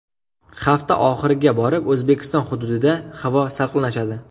Hafta oxiriga borib O‘zbekiston hududida havo salqinlashadi.